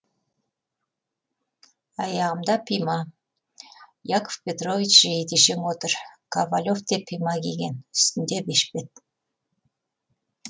аяғында пима яков петрович жейдешең отыр ковалев те пима киген үстінде бешпет